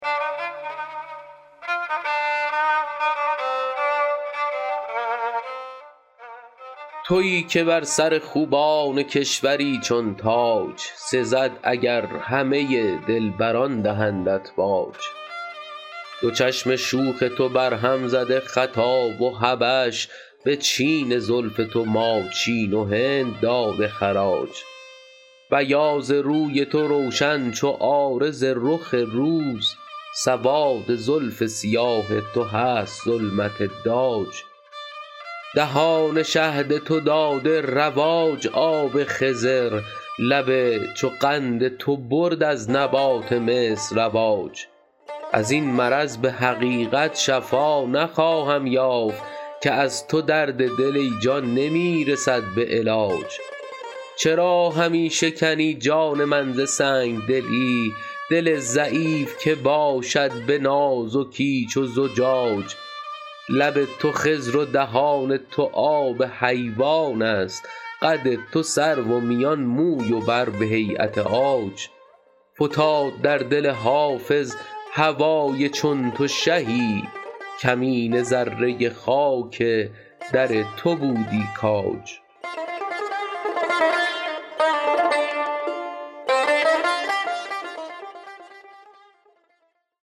تویی که بر سر خوبان کشوری چون تاج سزد اگر همه دلبران دهندت باج دو چشم شوخ تو برهم زده خطا و حبش به چین زلف تو ماچین و هند داده خراج بیاض روی تو روشن چو عارض رخ روز سواد زلف سیاه تو هست ظلمت داج دهان شهد تو داده رواج آب خضر لب چو قند تو برد از نبات مصر رواج از این مرض به حقیقت شفا نخواهم یافت که از تو درد دل ای جان نمی رسد به علاج چرا همی شکنی جان من ز سنگ دلی دل ضعیف که باشد به نازکی چو زجاج لب تو خضر و دهان تو آب حیوان است قد تو سرو و میان موی و بر به هییت عاج فتاد در دل حافظ هوای چون تو شهی کمینه ذره خاک در تو بودی کاج